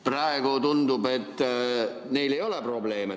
Praegu tundub, et neil ei ole probleeme.